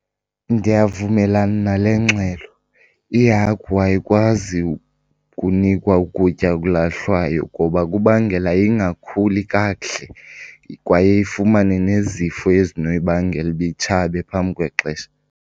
Ndiyavumelana nale ngxelo. Ihagu ayikwazi ukunikwa ukutya okulahlwayo ngoba kubangela ingakhuli kakuhle kwaye ifumane nezifo ezinoyibangela uba itshabe phambi kwexesha.